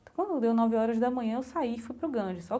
Quando deu nove horas da manhã eu saí e fui para o Ganges